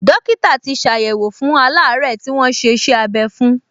Dọ́kítà tì ṣàyẹ̀wò fún aláàárẹ̀ tí wọ́n ṣe iṣẹ́-abẹ́ fún